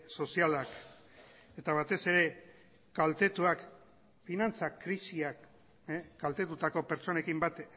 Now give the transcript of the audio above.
sozialak eta batez ere kaltetuak finantza krisiak kaltetutako pertsonekin bat